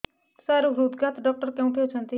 ସାର ହୃଦଘାତ ଡକ୍ଟର କେଉଁଠି ଅଛନ୍ତି